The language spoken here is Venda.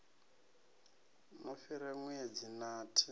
no fhira ṋwedzi wa t